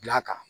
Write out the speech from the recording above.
Bila kan